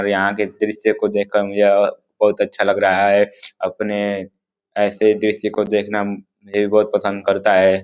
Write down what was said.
और यहाँ के दृश्य को देखकर मुझे अ बहुत अच्छा लग रहा है। अपने ऐसे दृश्य को देखना मुझे बहोत पसंद करता है।